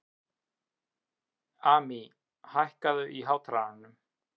Amý, hækkaðu í hátalaranum.